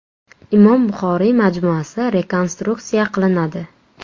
Imom Buxoriy majmuasi rekonstruksiya qilinadi.